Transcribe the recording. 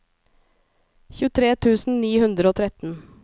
tjuetre tusen ni hundre og tretten